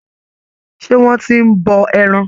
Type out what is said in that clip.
Ṣé wọ́n ti ń bọ ẹran.